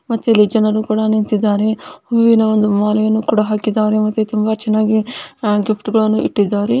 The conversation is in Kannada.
ಮತ್ತೆ ಇಲ್ಲಿ ಜನರು ಕೂಡ ನಿಂತಿದ್ದಾರೆ ವಿವಿಧ ಒಂದು ಮಾಲೆಯನ್ನು ಕುಡ ಹಾಕಿದ್ದಾರೆ ಮತ್ತೆ ತುಂಬಾ ಚೆನ್ನಾಗಿ ಗಿಫ್ಟ್ಗಳನ್ನು ಕುಡ ಇಟ್ಟಿದ್ದಾರೆ .